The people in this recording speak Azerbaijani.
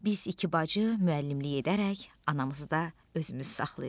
Biz iki bacı müəllimlik edərək anımızı da özümüz saxlayırdıq.